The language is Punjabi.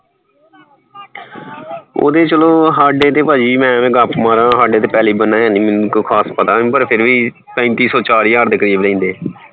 ਉਹਦੇ ਚਲੋ ਹਾਡੇ ਤਾਂ ਮੈ ਐਵੇਂ ਗੱਪ ਮਾਰਾਂ ਪੈਲੀ ਹੈ ਨਹੀਂ ਮੈਨੂੰ ਕੋਈ ਖਾਸ ਪਤਾ ਨਹੀਂ ਪਰ ਫੇਰ ਵੀ ਪੈਂਤੀ ਸੋ ਚਾਰ ਹਜਾਰ ਦੇ ਕਰੀਬ ਲੈਂਦੇ ਸੀ